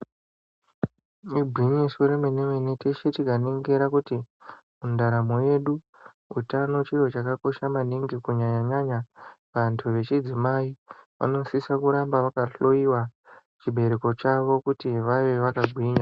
Igwinyiso yemene teshe tikaningira kuti mundaramo yedu utano chiro chakakosha maningi kunyanya nyanya kuantu echidzimai anosise kuramba akahloiwa chibereko chavo kuti vave vakagwinya